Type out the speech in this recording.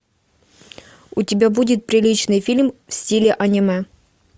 у тебя будет приличный фильм в стиле аниме